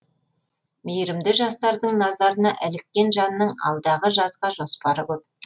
мейірімді жастардың назарына іліккен жанның алдағы жазға жоспары көп